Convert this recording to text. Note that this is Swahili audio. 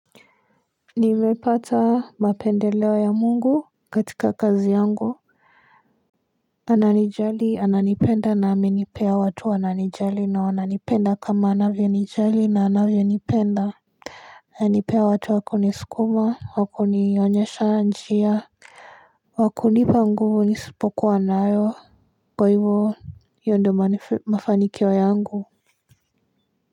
Nimepata mapendeleo ya mungu katika kazi yangu ananijali ananipenda na amenipea watu ananijali na wananipenda kama anavyo nijali na anavyonipenda anipea watu wa kunisukuma wa kunionyesha njia wa kunipa nguvu nisipokuwa nayo kwa hivyo hiyo ndio mafanikio yangu.